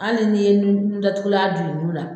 Hali n'i ye nun datugula d'ulu la